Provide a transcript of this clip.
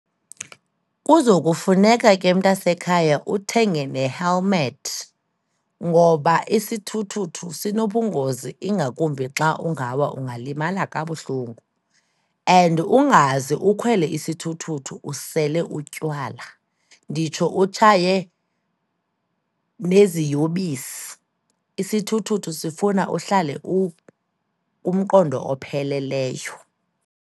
Kuzokufuneka ke, mntanasekhaya, uthenge ne-helmet ngoba isithuthuthu sinobungozi ingakumbi xa ungawa, ungalimala kabuhlungu. And ungaze ukhwele isithuthuthu usele utywala, nditsho utshaye neziyobisi. Isithuthuthu sifuna uhlale ukumqondo opheleleyo.